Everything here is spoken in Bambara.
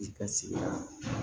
I ka sigida la